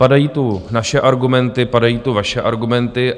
Padají tu naše argumenty, padají tu vaše argumenty.